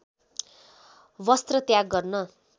वस्त्र त्याग गर्न